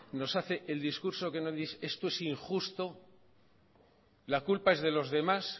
nos hace el discurso que nos dice esto es injusto la culpa es de los demás